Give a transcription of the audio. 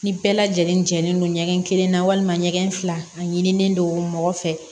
Ni bɛɛ lajɛlen jɛlen don ɲɛgɛn kelen na walima ɲɛgɛn fila a ɲinilen don mɔgɔ fɛ